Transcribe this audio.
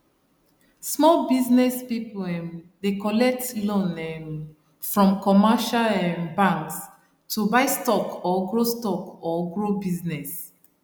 small business people um dey collect loan um from commercial um banks to buy stock or grow stock or grow business